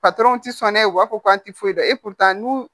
sɔn n'a ye u b'a fɔ k'an ti foyi dɔn e kun taa n'u